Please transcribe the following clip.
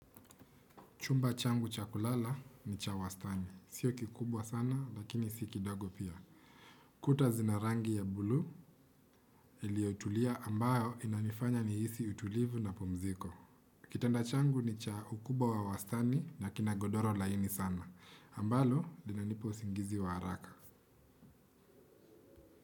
Chumba changu chakulala, nicha wastaani. Sio kikubwa sana, lakini si kidogo pia. Kuta zinarangi ya bulu, iliyotulia ambayo inanifanya nihisi utulivu na pumziko. Kitanda changu ni cha ukubwa wa wastani, na kina godoro laini sana. Ambalo lina nipa usingizi wa haraka.